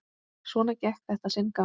Svona gekk þetta sinn gang.